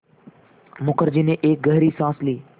मुखर्जी ने एक गहरी साँस ली